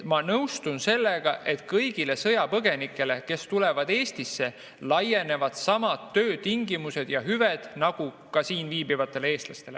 Ma nõustun sellega, et kõigile sõjapõgenikele, kes tulevad Eestisse, laienevad samad töötingimused ja hüved nagu ka siin viibivatele eestlastele.